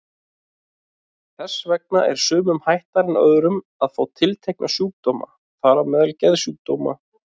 Þess vegna er sumum hættara en öðrum að fá tiltekna sjúkdóma, þar á meðal geðsjúkdóma.